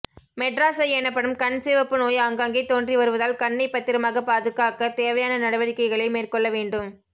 Madras eye எனப்படும் கண் சிவப்பு நோய் ஆங்காங்கே தோன்றி வருவதால் கண்ணை பத்திரமாக பாதுகாக்க தேவையான நடவடிக்கைகளை மேற்கொள்ளவேண்டும்